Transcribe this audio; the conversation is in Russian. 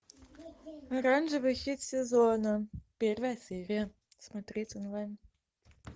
оранжевый хит сезона первая серия смотреть онлайн